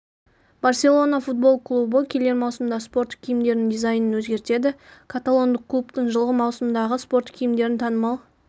барселона футбол клубы келер маусымда спорттық киімдерінің дизайнын өзгертеді каталондық клубтың жылғы маусымдағы спорттық киімдерін танымал